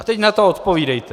A teď na to odpovídejte!